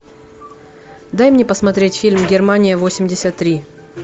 дай мне посмотреть фильм германия восемьдесят три